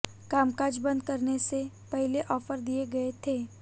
कामकाज बंद करने से पहले ऑफर दिए गए थे